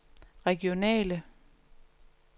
regionale